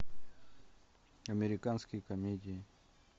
американские комедии